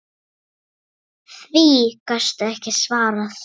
Því gastu ekki svarað.